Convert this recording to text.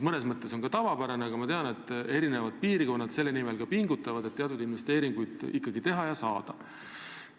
Mõnes mõttes on see tavapärane, aga ma tean, et eri piirkonnad pingutavad selle nimel, et teatud investeeringuid ikkagi teha ja saada.